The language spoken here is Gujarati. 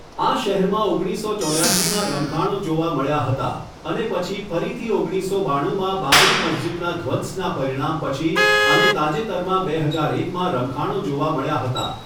આ શહેરમાં ઓગણીસસો ચોર્યાશીમાં રમખાણો જોવા મળ્યા હતા અને પછી ફરીથી ઓગણીસસો બાણુંમાં બાબરી મસ્જિદના ધ્વંસના પરિણામ પછી અને તાજેતરમાં બે હજાર એકમાં રમખાણો જોવા મળ્યા હતા.